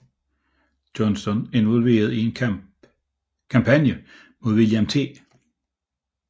Johnston involveret i en kampagne mod William T